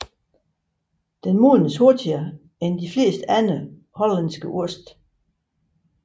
Den modnes hurtigere end de fleste andre hollandske oste